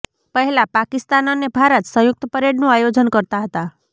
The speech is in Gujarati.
પહેલાં પાકિસ્તાન અને ભારત સંયુક્ત પરેડનું આયોજન કરતા હતા